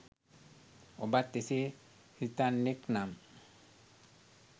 ඔබත් එසේ සිතන්නෙක් නම්